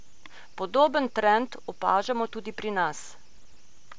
Podoben trend opažamo tudi pri nas.